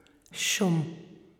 Šum.